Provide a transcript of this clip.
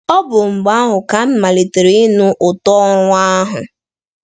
Ọ bụ mgbe ahụ ka m malitere ịnụ ụtọ ọrụ ahụ.